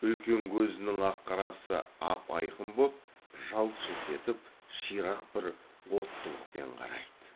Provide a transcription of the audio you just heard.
үлкен көзінің ақ қарасы ап айқын боп жалт жылт етіп ширақ бір оттылықпен қарайды